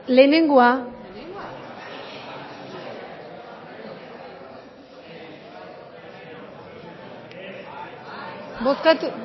lehenengoa